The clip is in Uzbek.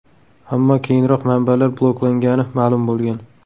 Ammo keyinroq manbalar bloklangani ma’lum bo‘lgan.